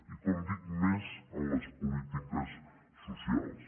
i com dic més en les polítiques socials